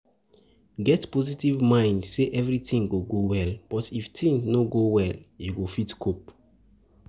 Get positive mind sey everything go go well but if thing no go well you go fit cope